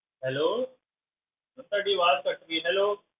Hello ma'am ਤੁਹਾਡੀ ਆਵਾਜ਼ ਕੱਟ ਗਈ hello